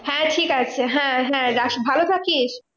হ্যাঁ ঠিক আছে হ্যাঁ হ্যাঁ রাখ। ভালো থাকিস।